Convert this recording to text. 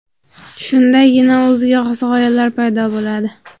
Shundagina o‘ziga xos g‘oyalar paydo bo‘ladi.